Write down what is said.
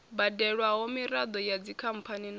badelwaho miraḓo ya dzikhamphani na